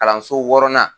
Kalanso wɔɔrɔnan